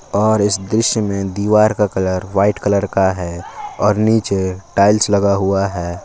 और इस दृश्य में दीवार का कलर व्हाइट कलर का हैं और नीचे टाइल्स लगा हुआ है।